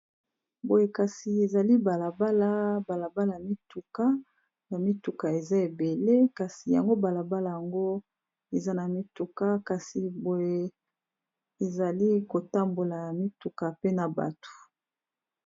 Boye kasi ezali balabala ya mituka eza ebele kasi y balabala yango eza na mituka kasi boye ezali ko tambola mituka pe na bato.